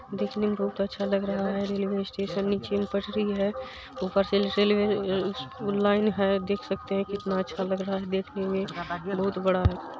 देखने मे बहुत अच्छा लग रहा है रेलवे स्टेशन नीचे में पटरी है ऊपर से रेलवे लाइन है देख सकते है कितना अच्छ लग रहा है देखने मे बहुत बड़ा।